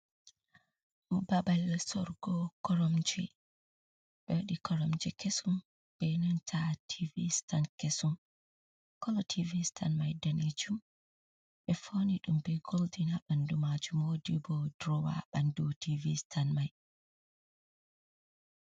Ɗo babal soorugo koromje , ɓe waɗi koromje kesum be nanta tiivi stan kesum, kolo tiivi stan mai daneejum ɓe fauni ɗum be goldin haa ɓandu maajum, woodi bo duroowa ha ɓandu tiivi stan mai.